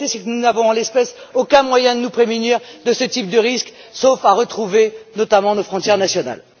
La réalité, c'est que nous n'avons, en l'espèce, aucun moyen de nous prémunir de ce type de risques, sauf à retrouver, notamment, nos frontières nationales.